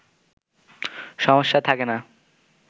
সমস্যা থকে না